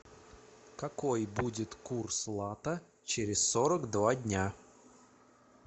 какой будет курс лата через сорок два дня